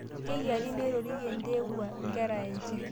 Keyiari neroriye ntewua nkera enje